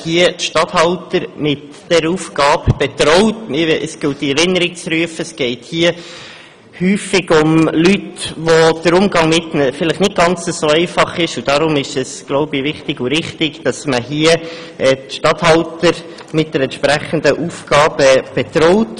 Es gilt in Erinnerung zu rufen, dass es hierbei oft um Leute geht, mit denen der Umgang vielleicht nicht ganz einfach ist, und deshalb ist es wohl wichtig und richtig, dass man die Regierungsstatthalter mit der entsprechenden Aufgabe betraut.